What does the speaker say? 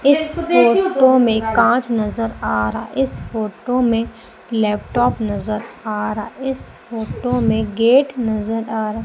इस फोटो में कांच नजर आ रहा इस फोटो में इस फोटो में लैपटॉप नजर आ रहा इस फोटो में गेट नजर आ रहा।